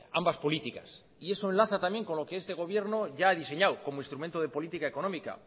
ambas políticas y eso enlaza también con lo que este gobierno ya ha diseñado como instrumento de política económica